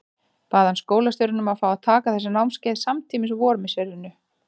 Bað hann skólastjórann um að fá að taka þessi námskeið samtímis á vormisserinu.